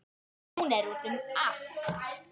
Hún er úti um allt.